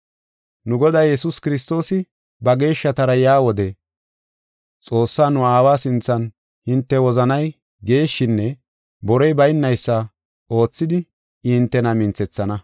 Nu Goday Yesuus Kiristoosi ba geeshshatara yaa wode Xoossaa, nu aawa sinthan hinte wozanay geeshshinne borey baynaysa oothidi I hintena minthethana.